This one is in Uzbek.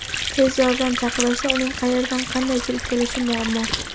Tez yordam chaqirilsa uning qayerdan, qanday kirib kelishi muammo.